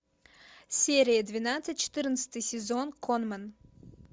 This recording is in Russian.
серия двенадцать четырнадцатый сезон конмэн